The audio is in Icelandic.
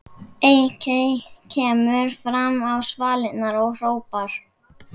Eiki kemur fram á svalirnar og hrópar